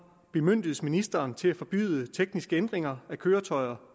bemyndiges ministeren til at forbyde tekniske ændringer af køretøjer